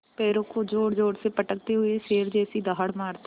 पैरों को ज़ोरज़ोर से पटकते हुए शेर जैसी दहाड़ मारता है